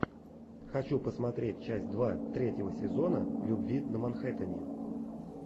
хочу посмотреть часть два третьего сезона любви на манхеттене